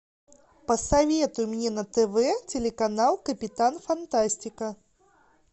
посоветуй мне на тв телеканал капитан фантастика